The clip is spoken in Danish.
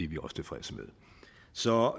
vi også tilfredse med så